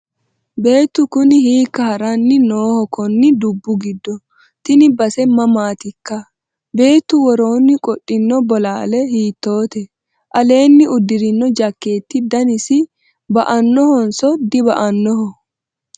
beettu kuni hiikka haranni nooho konni dubbu giddo? tini base mamaatikka? beetu woroonni qodhino bolaale hiittoote? aleenni uddirino jakeetti danasi ba'annohonso diba'annoho?